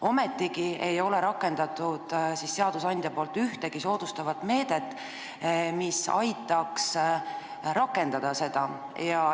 Ometigi ei ole seadusandja võtnud ühtegi soodustavat meedet, mis aitaks seda rakendada.